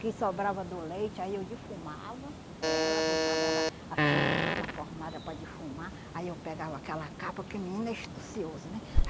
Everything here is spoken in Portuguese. O que sobrava do leite, aí eu defumava ela, botava ela assim, na fornalha para defumar, aí eu pegava aquela capa, porque menino é astucioso, né?